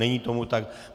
Není tomu tak.